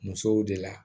Musow de la